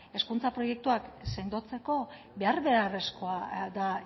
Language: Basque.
hezkuntza proiektuak sendotzeko behar beharrezkoa da